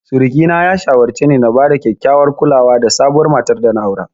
Suriki na ya shawarce ni na bada kyakkyawar kulawa da sabuwar matar dana aura.